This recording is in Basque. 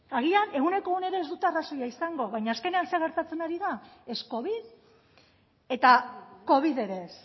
agian ehuneko ehunean ez dute arrazoia izango baina azkenean zer gertatzen ari da ez covid eta covid ere ez